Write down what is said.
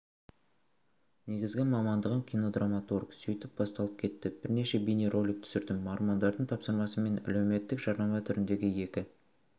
негізгі мамандығым кинодраматург сөйтіп басталып кетті бірнеше бейнеролик түсірдім мормондардың тапсырысымен әлеуметтік жарнама түріндегі екі